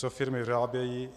Co firmy vyrábějí?